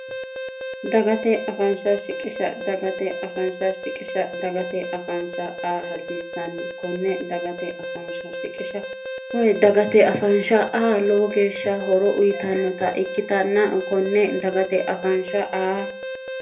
dagate afaansha shiqisha dagate afaansha shiqisha dagate afaansha a hasiissanni konne dagate afaansha shiqisha wydagate afaansha a lowo geeshsha horo uyitannota ikkitanna konne dagate afaansha aa